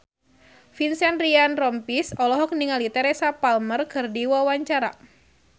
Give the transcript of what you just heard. Vincent Ryan Rompies olohok ningali Teresa Palmer keur diwawancara